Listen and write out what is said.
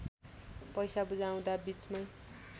पैसा बुझाउँदा बीचमै